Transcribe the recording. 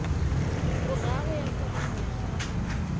boraro ya foromo ya gago